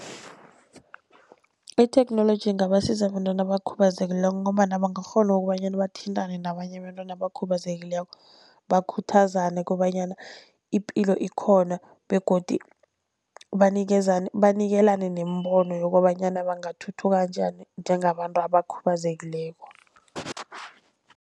Itheknoloji ingabasiza abantwana abakhubazekileko, ngombana bangakghona okobanyana bathintane nabanye abentwana abakhubazekileko bakhuthazane kobanyana ipilo ikhona. Begodu banikezane, banikelane neembono yokobanyana bangathuthuka njani njengabantu abakhubazekileko.